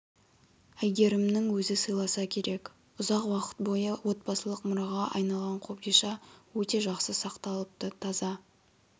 әйгерімнің өзі сыйласа керек ұзақ уақыт бойы отбасылық мұраға айналған қобдиша өте жақсы сақталыпты таза